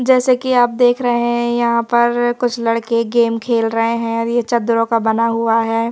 जैसे कि आप देख रहे हैं यहां पर कुछ लड़के गेम खेल रहे हैं और यह चद्दरों का बना हुआ है।